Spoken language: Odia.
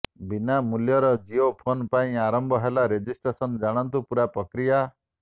ବିନା ମୂଲ୍ୟର ଜିଓ ଫୋନ୍ ପାଇଁ ଆରମ୍ଭ ହେଲା ରେଜିଷ୍ଟ୍ରେସନ ଜାଣନ୍ତୁ ପୁରା ପ୍ରକ୍ରିୟା